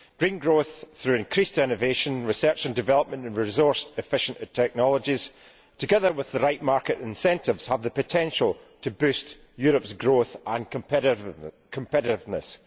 Green growth through increased innovation, research and development and resource efficient technologies, together with the right market incentives, have the potential to boost Europe's growth and competitiveness.